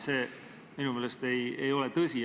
See minu meelest ei ole tõsi.